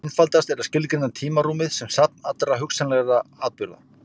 Einfaldast er að skilgreina tímarúmið sem safn allra hugsanlegra atburða.